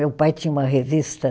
Meu pai tinha uma revista.